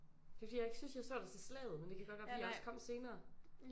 Det er fordi jeg ikke synes jeg så dig til Slaget men det kan godt være fordi jeg først kom senere